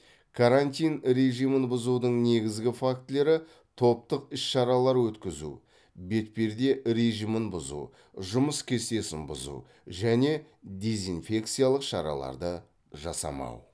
карантин режимін бұзудың негізгі фактілері топтық іс шаралар өткізу бетперде режимін бұзу жұмыс кестесін бұзу және дезинфекциялық шараларды жасамау